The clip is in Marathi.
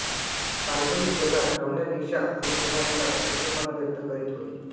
काल्पनिक जगात रमण्यापेक्षा अनुभवातला सच्चेपणा व्यक्त करीत होती